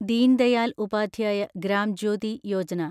Deen Dayal Upadhyaya Gram Jyoti Yojana